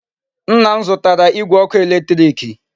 Nna m zutara Igwe oku eletiriki